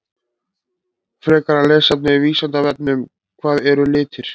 Frekara lesefni af Vísindavefnum: Hvað eru litir?